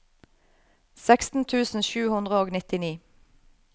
seksten tusen sju hundre og nittini